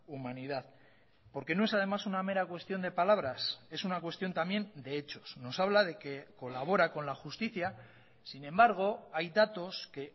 humanidad porque no es además una mera cuestión de palabras es una cuestión también de hechos nos habla de que colabora con la justicia sin embargo hay datos que